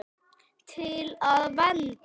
Til að vernda.